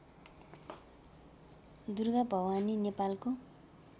दुर्गाभवानी नेपालको